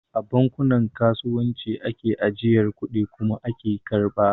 A bankunan kasuwanci ake ajiyar kudi kuma ake karɓa